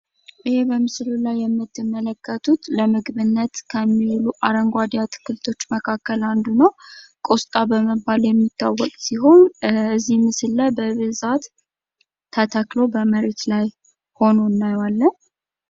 ይህ በምስሉ ላይ የምትመለከቱት ለምግብነት ከሚውሉ አረንጓዴ አትክልቶች አንዱ ነው። ቆስጣ በመባል የሚታወቅ ሲሆን ከዚህ ምስል ላይ በብዛት ተተክሎ በመሬት ላይ ሆኖ እናየዋለን።